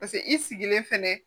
Paseke i sigilen fɛnɛ